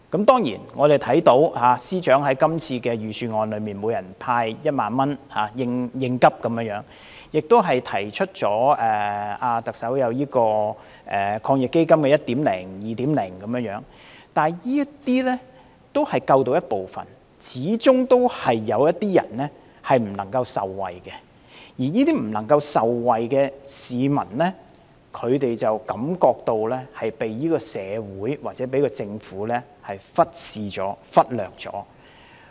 當然，我們看到司長在這次預算案中建議向每人派發1萬元應急，特首亦提出了第一及第二輪防疫抗疫基金，但這些只能救助部分人，始終有些人未能受惠，而未能受惠的市民便感到遭社會或政府忽視和忽略。